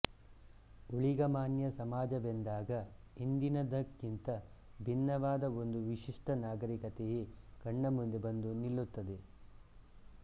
ಊಳಿಗಮಾನ್ಯ ಸಮಾಜವೆಂದಾಗ ಇಂದಿನದಕ್ಕಿಂತ ಭಿನ್ನವಾದ ಒಂದು ವಿಶಿಷ್ಟ ನಾಗರಿಕತೆಯೇ ಕಣ್ಣಮುಂದೆ ಬಂದು ನಿಲ್ಲುತ್ತದೆ